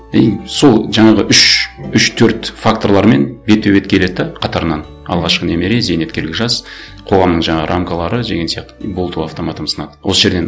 и сол жаңағы үш үш төрт факторлармен бетпе бет келеді де қатарынан алғашқы немере зейнеткерлік жас қоғамның жаңағы рамкалары деген сияқты и болды ол автоматом сынады осы жерден